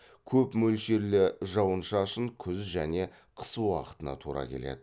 көп мөлшерлі жауын шашын күз және қыс уақытына тура келеді